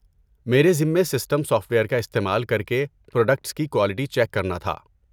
میرے ذمے system software کا استعمال کر کے پراڈکٹس کی کوالٹی چیک کرنا تھا۔